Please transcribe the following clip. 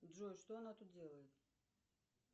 джой что она тут делает